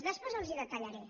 després els ho detallaré